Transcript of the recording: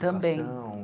Também.